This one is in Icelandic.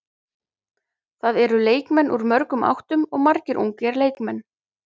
Það eru leikmenn úr mörgum áttum og margir ungir leikmenn.